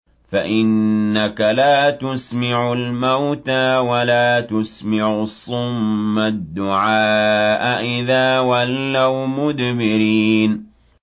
فَإِنَّكَ لَا تُسْمِعُ الْمَوْتَىٰ وَلَا تُسْمِعُ الصُّمَّ الدُّعَاءَ إِذَا وَلَّوْا مُدْبِرِينَ